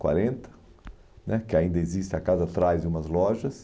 Quarenta né que ainda existe a casa atrás de umas lojas.